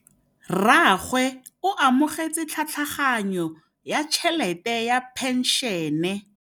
Rragwe o amogetse tlhatlhaganyô ya tšhelête ya phenšene.